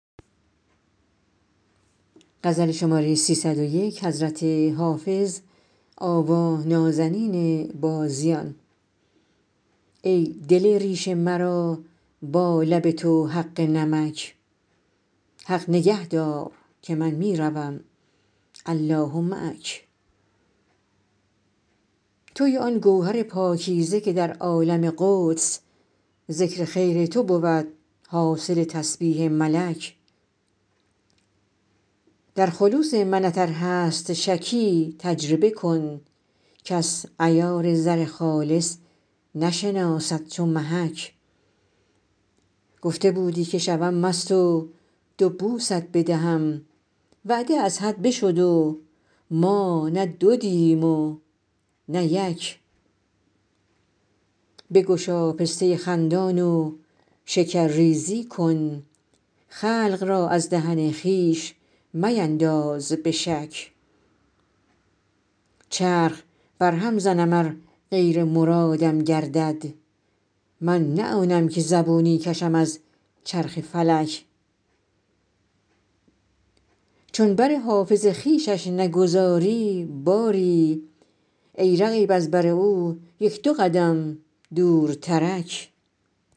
ای دل ریش مرا با لب تو حق نمک حق نگه دار که من می روم الله معک تویی آن گوهر پاکیزه که در عالم قدس ذکر خیر تو بود حاصل تسبیح ملک در خلوص منت ار هست شکی تجربه کن کس عیار زر خالص نشناسد چو محک گفته بودی که شوم مست و دو بوست بدهم وعده از حد بشد و ما نه دو دیدیم و نه یک بگشا پسته خندان و شکرریزی کن خلق را از دهن خویش مینداز به شک چرخ برهم زنم ار غیر مرادم گردد من نه آنم که زبونی کشم از چرخ فلک چون بر حافظ خویشش نگذاری باری ای رقیب از بر او یک دو قدم دورترک